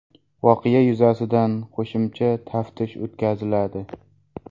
Voqea yuzasidan qo‘shimcha taftish o‘tkaziladi.